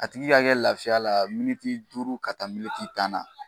A tigi ka kɛ lafiya la duuru ka taa tan na